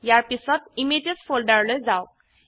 ইয়াৰ পিছত ইমেজেছ ফোল্ডাৰলৈ যাওক